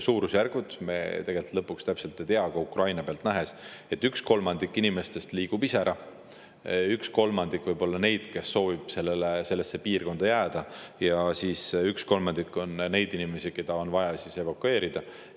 Suurusjärke me tegelikult täpselt ei tea, aga Ukraina pealt oleme näinud, et üks kolmandik inimestest liigub ise ära, üks kolmandik võib olla neid, kes soovivad sellesse piirkonda jääda, ja üks kolmandik on neid inimesi, kes on vaja evakueerida.